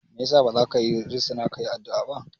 Me yasa bazaka risina kayi addu'a ba?